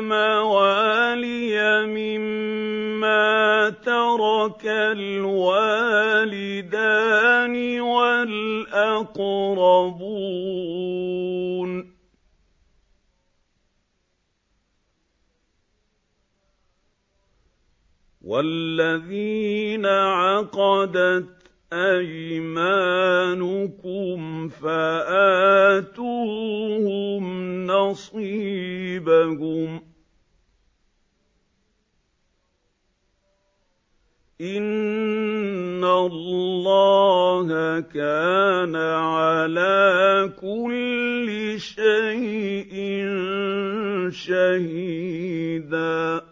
مَوَالِيَ مِمَّا تَرَكَ الْوَالِدَانِ وَالْأَقْرَبُونَ ۚ وَالَّذِينَ عَقَدَتْ أَيْمَانُكُمْ فَآتُوهُمْ نَصِيبَهُمْ ۚ إِنَّ اللَّهَ كَانَ عَلَىٰ كُلِّ شَيْءٍ شَهِيدًا